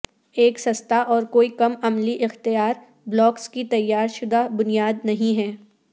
ایک سستا اور کوئی کم عملی اختیار بلاکس کی تیار شدہ بنیاد نہیں ہے